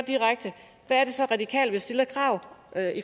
er det så radikale vil stille af